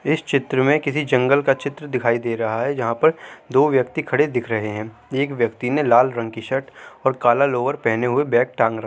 इस चित्र में किसी जंगल का चित्र दिखाई दे रहा है जहां पर दो व्यक्ति खड़े दिख रहे है| एक व्यक्ति ने लाल रंग कि शर्ट और काला लोअर पहने हुए बैग टांग रखा--